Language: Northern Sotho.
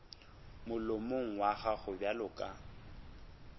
molomong wa gago bjalo ka